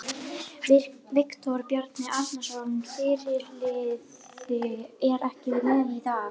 Viktor Bjarki Arnarsson, fyrirliði, er ekki með í dag.